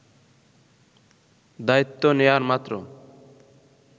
দায়িত্ব নেয়ার মাত্র